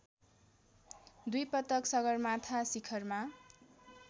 दुईपटक सगरमाथा शिखरमा